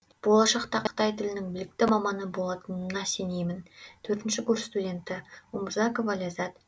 болашақта қытай тілінің білікті маманы болатыныма сенемін төртінші курс студенті умурзакова ләзза